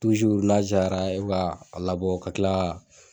n'a cayara e b'a labɔ ka kila ka.